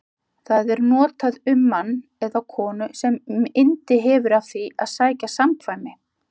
Það er notað um mann eða konu sem yndi hefur af því að sækja samkvæmi.